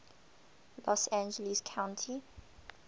los angeles county